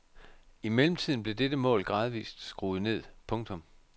I mellemtiden blev dette mål gradvist skruet ned. punktum